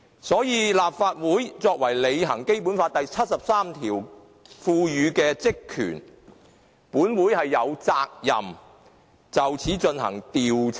所以，立法會為履行《基本法》第七十三條賦予的職權，是有責任就此事進行調查的。